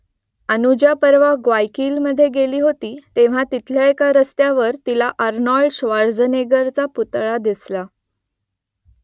अनुजा परवा ग्वायकिलमधे गेली होती तेव्हा तिथल्या एका रस्त्यावर तिला आर्नोल्ड श्वार्झनेगरचा पुतळा दिसला